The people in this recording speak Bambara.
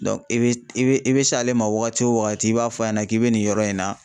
i be i be s'ale ma wagati wo wagati i b'a fɔ a ɲɛna k'i be nin yɔrɔ in na.